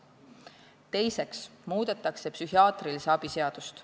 Teiseks muudetakse psühhiaatrilise abi seadust.